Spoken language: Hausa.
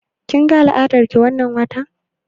Kin ga al'adar ki wannan watan?